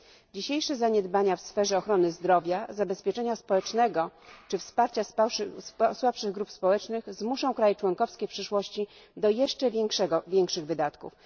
Dzisiejsze zaniedbania w sferze ochrony zdrowia, zabezpieczenia społecznego czy wsparcia słabszych grup społecznych zmuszą kraje członkowskie w przyszłości do jeszcze większych wydatków.